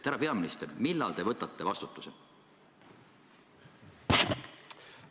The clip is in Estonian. Härra peaminister, millal te võtate vastutuse?